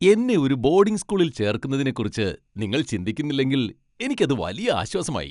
എന്നെ ഒരു ബോഡിംഗ് സ്കൂളിൽ ചേർക്കുന്നതിനെക്കുറിച്ച് നിങ്ങൾ ചിന്തിക്കുന്നില്ലെങ്കിൽ എനിക്ക് അത് വലിയ ആശ്വാസമായി.